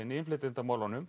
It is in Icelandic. í innflytjendamálum